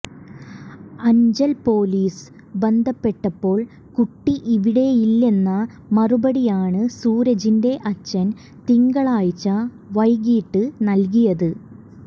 Anchal police ബന്ധപ്പെട്ടപ്പോൾ കുട്ടി ഇവിടെയില്ലെന്ന മറുപടിയാണ് സൂരജിന്റെ അച്ഛൻ തിങ്കളാഴ്ച വൈകീട്ട് നൽകിയത്